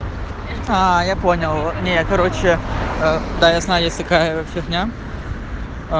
а я понял не короче да я знаю есть такая фигня а